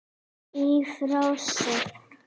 Í frásögn